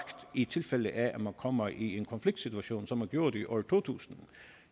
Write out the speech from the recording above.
i tilfælde af at man kommer i en konfliktsituation som man gjorde det i år to tusind